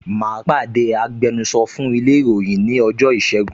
Mà á pàdé agbẹnusọ fún ilé ìròyìn ní ọjọ́ ìṣẹ́gun